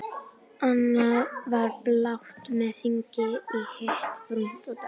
Annað var blátt með hring í, hitt brúnt og dökkt.